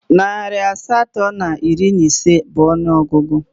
Narị asatọ na iri na ise bụ ọnụọgụgụ